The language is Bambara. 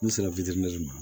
N sera ma